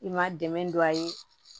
I ma dɛmɛ don a ye